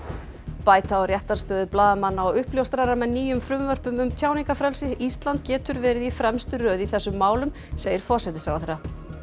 bæta á réttarstöðu blaðamanna og uppljóstrara með nýjum frumvörpum um tjáningarfrelsi ísland getur verið í fremstu röð í þessum málum segir forsætisráðherra